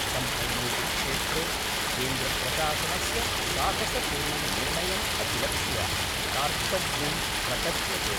सम्पूर्णेऽपि क्षेत्रे केन्द्रप्रशासनस्य साहसपूर्णं निर्णयम् अभिलक्ष्य कार्तज्ञं प्रकट्यते।